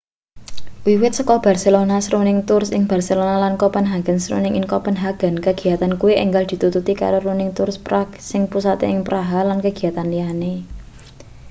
wiwit saka barcelona's running tours ing barcelona lan copenhagen's running ing copenhagen kegiyatan kuwi enggal ditututi karo running tours prague sing pusate ing praha lan kegiyatan liyane